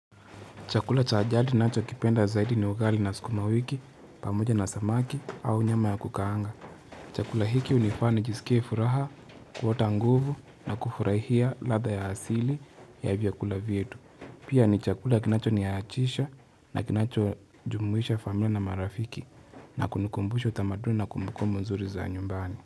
Chakula cha ajadi ninaachokipenda zaidi ni ugali na sukuma wiki, pamoja na samaki au nyama ya kukaanga. Chakula hiki unifani jisikie furaha, kuota nguvu na kufurahia ladha ya asili ya vyakula vietu. Pia ni chakula kinacho niyaachisha na kinacho jumuisha familia na marafiki na kunikumbushi utamaduni na kumbukumu nzuri za nyumbani.